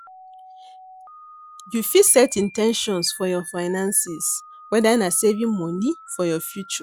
You fit set in ten tions for your finances, whether na saving monie for your future.